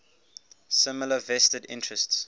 similar vested interests